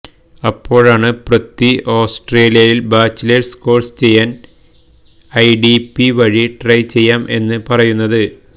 അപ്പോഴാണ് പൃഥ്വി ആസ്ട്രേലിയയില് bachelors course ചെയ്യാന് ഐഡിപി വഴി ട്രൈ ചെയ്യാം എന്ന് പറയുന്നത്